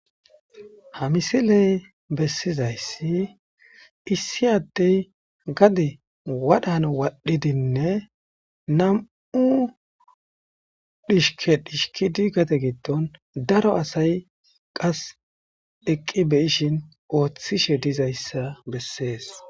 Ha misilee bessizayssi issi addee gade wadhan wadhdhidinne nam7u dhishkkeya dhishkidi gade giddon daro asay qas eqqi be7ishin ooththishe dizayssa bessees.